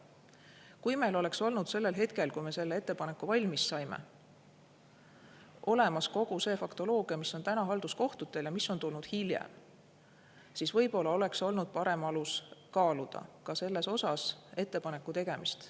Kui meil oleks olnud sellel hetkel, kui me selle ettepaneku valmis saime, olemas kogu see faktoloogia, mis on täna halduskohtutel ja mis on tulnud hiljem, siis võib-olla oleks olnud parem alus kaaluda ka selles osas ettepaneku tegemist.